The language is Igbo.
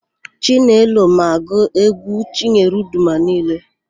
Chinelo ma agụ égwú Chinyere Udoma niile.